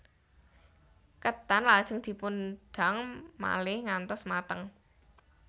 Ketan lajeng dipun dang malih ngantos mateng